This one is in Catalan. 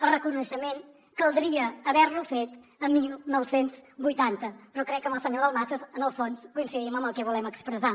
el reconeixement caldria haver lo fet el dinou vuitanta però crec que amb el senyor dalmases en el fons coincidim en el que volem expressar